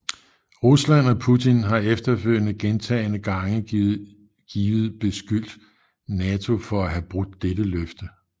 Rusland og Putin har efterfølgende gentagende gange givet beskyldt NATO for at have brudt dette løfte